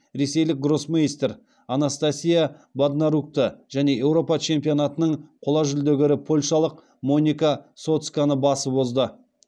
ресейлік гроссмейстер анастасия боднарукті және еуропа чемпионатының қола жүлдегері польшалық моника соцконы басып озды